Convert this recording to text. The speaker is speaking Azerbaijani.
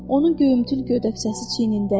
Onun göyümtül gödəkçəsi çiynində idi.